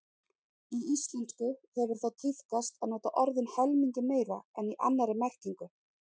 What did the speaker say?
Í íslensku hefur þó tíðkast að nota orðin helmingi meira en í annarri merkingu.